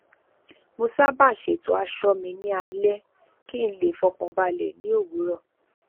mo sábà ṣètò aṣọ mi ní alẹ kí n le fọkàn balẹ ní òwúrọ